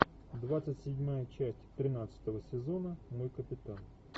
двадцать седьмая часть тринадцатого сезона мой капитан